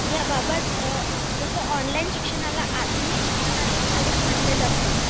याबाबत जसं ऑनलाईन शिक्षणाला आधुनिक शिक्षणाचे स्वरूप म्हटले जाते